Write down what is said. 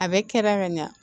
A bɛ kɛ ka ɲa